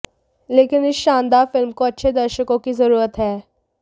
लेकिन इस शानदार फिल्म को अच्छे दर्शकों की ज़रूरत है